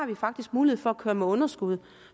vi faktisk mulighed for at køre med underskud